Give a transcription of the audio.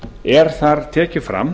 er þar tekið fram